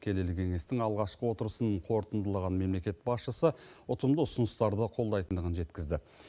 келелі кеңестің алғашқы отырысын қорытындылаған мемлекет басшысы ұтымды ұсыныстарды қолдайтындығын жеткізді